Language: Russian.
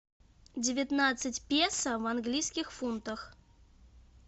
девятнадцать песо в английских фунтах